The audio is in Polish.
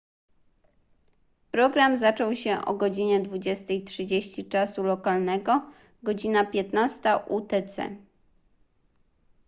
program zaczął się o godz. 20:30 czasu lokalnego godz. 15:00 utc